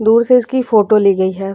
दूर से इसकी फोटो ली गई है।